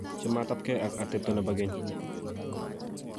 Chametapkei ak atepto nebo keny